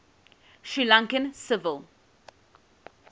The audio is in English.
sri lankan civil